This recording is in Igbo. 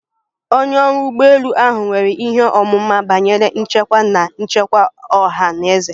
Onye ọrụ ụgbọ elu ahụ nwere ihe ọmụma banyere nchekwa na nchekwa ọha na eze